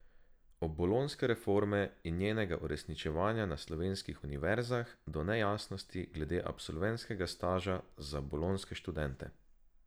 Od bolonjske reforme in njenega uresničevanja na slovenskih univerzah, do nejasnosti glede absolventskega staža za bolonjske študente.